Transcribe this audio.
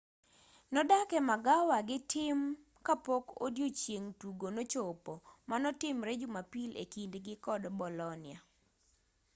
nodak e magawa gi tim kapok odiochieng' tugo nochopo manotimre jumapili ekindgi kod bolonia